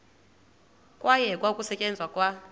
kwayekwa ukusetyenzwa kwa